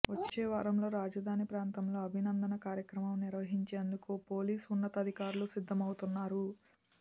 వచ్చే వారంలో రాజధాని ప్రాంతంలో అభినందన కార్యక్రమం నిర్వహించేందుకు పోలీసు ఉన్నతాధికారులు సిద్ధమవుతున్నారు